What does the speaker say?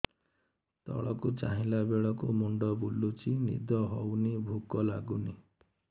ତଳକୁ ଚାହିଁଲା ବେଳକୁ ମୁଣ୍ଡ ବୁଲୁଚି ନିଦ ହଉନି ଭୁକ ଲାଗୁନି